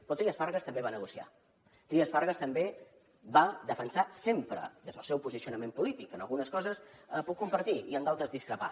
però trias fargas també va negociar trias fargas també va defensar sempre des del seu posicionament polític que algunes coses les puc compartir i en altres discrepar